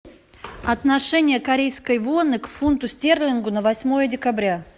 отношение корейской воны к фунту стерлингу на восьмое декабря